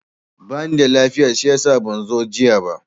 Ba nida lafiya shiyasa ban zo jiya ba.